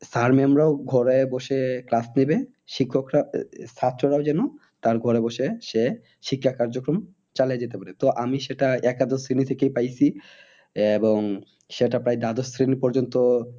Sir mam রাও ঘরে বসে class নেবে শিক্ষকরা, ছাত্ররাও যেন তার ঘরে বসে সে শিক্ষা কার্যক্রম চালায় যেতে পারে। তো আমি সেটা একাদশ শ্রেণী থেকেই পাইছি। এবং সেটা পাই দ্বাদশ শ্রেণী পর্যন্ত